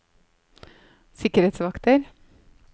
sikkerhetsvakter